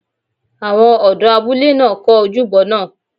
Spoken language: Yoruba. Àwọn ọ̀dọ́ abúlé náà kọ́ ojúbọ náà